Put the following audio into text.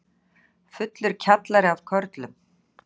Fullur kjallari af körlum